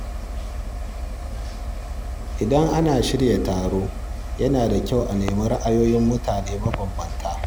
Idan ana shirya taro, yana da kyau a nemi ra’ayoyin mutane mabambanta.